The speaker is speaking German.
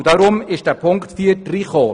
Darum wurde die Auflage 4 aufgenommen.